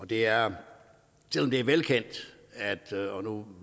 det er velkendt og nu